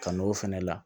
Kan'o fɛnɛ la